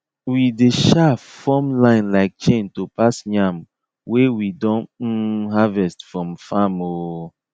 we dey um form line like chain to pass yam wey we don um harvest from farm um